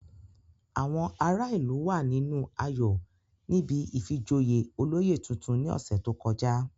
Àwọn ará ìlú wà nínú ayọ̀ níbi ìfijoyè olóyè tuntun ní ọ̀sẹ̀ tó kọjá